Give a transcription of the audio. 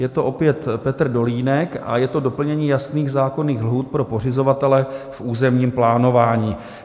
Je to opět Petr Dolínek a je to doplnění jasných zákonných lhůt pro pořizovatele v územním plánování.